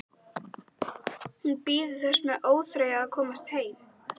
Hún bíður þess með óþreyju að komast heim.